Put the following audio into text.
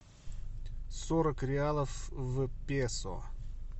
сорок реалов в песо